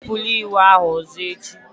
Enupụla iwu ahụ ọzọ echi!